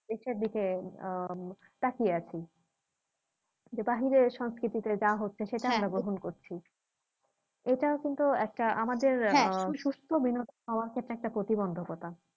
ইসির দিকে আহ তাকিয়ে আছি যে বাহিরে সংস্কৃতিতে যা হচ্ছে সেটাই আমরা গ্রহণ করছি এটা কিন্তু একটা আমাদের আহ সুস্থ বিনোদন সবার ক্ষেত্রে একটা প্রতিবন্ধকতা